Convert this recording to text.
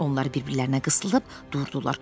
Onlar bir-birlərinə qısılıb durdular.